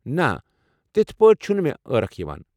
نہ، تتھہٕ پٲٹھۍ چھُنہٕ مےٚ عاركھ یِوان۔